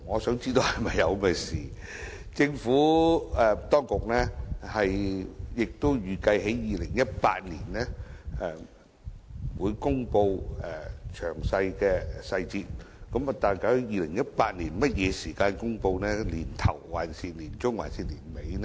雖然政府當局預計於2018年公布細節，但究竟是在2018年年初、年中還是年底公布呢？